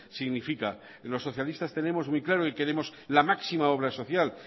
significa los socialistas tenemos muy claro y queremos la máxima obra social